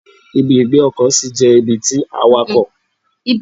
Ibi ìgbé ọkọ̀ sí jẹ́ ibi tí àwàkọ̀ máa ń fi ọkọ̀ wọn sì.